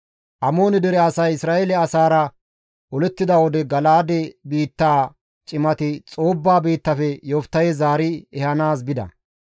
Amoone dere asay Isra7eele asaara olettida wode Gala7aade biittaa cimati Xoobba biittafe Yoftahe zaari ehanaas bida.